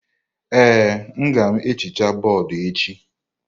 Ee, agam ehicha bọọdụ echi.